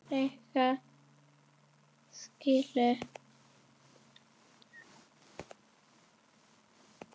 Líklega skilur